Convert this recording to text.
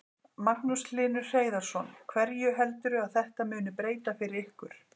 Magnús Hlynur Hreiðarsson: Hverju heldurðu að þetta muni breyta fyrir ykkur?